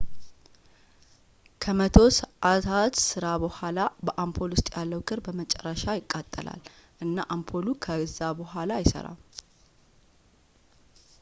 ከመቶ ሰዓታት ሥራ በኋላ በአምፖል ውስጥ ያለው ክር በመጨረሻ ይቃጠላል እና አምፖሉ ከእዛ በዋላ አይሠራም